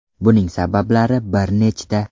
Buning sabablari bir nechta.